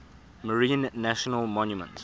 marine national monument